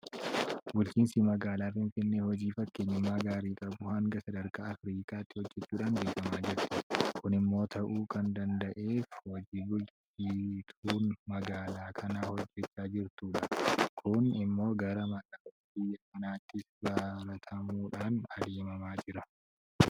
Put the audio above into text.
Bulchiinsi magaalaa Finfinnee hojii fakkeenyummaa gaarii qabu hanga sadarkaa Afriikaatti hojjechuudhaan beekamaa jirti. Kun immoo ta'uu kan danda'eef hojii bulchituun magaalaa kanaa hojjechaa jirtuunidha. Kun immoo gara magaalota biyya kanaattis baramuudhaan adeemamaa jira.